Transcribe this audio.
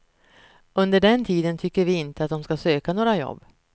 Under den tiden tycker vi inte att de ska söka några jobb.